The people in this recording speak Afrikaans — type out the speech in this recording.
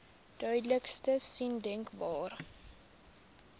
duidelikste sein denkbaar